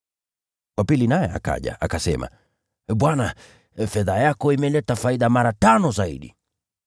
“Wa pili naye akaja. Akasema, ‘Bwana, fedha yako imeleta faida mara tano zaidi.’